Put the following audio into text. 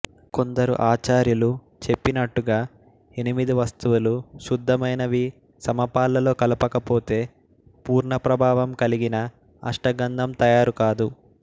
కొందరు ఆచార్యులు చెప్పినట్టుగా ఎనిమిది వస్తువులు శుద్ధమైనవి సమపాళ్లలో కలపకపోతే పూర్ణ ప్రభావం కలిగిన అష్టగంధం తయారుకాదు